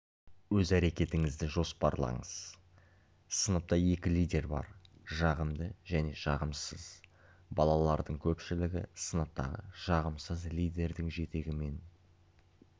өз әрекетіңізді жоспарлаңыз сыныпта екі лидер бар жағымды және жағымсыз балалардың көпшілігі сыныптағы жағымсыз лидердің жетегімен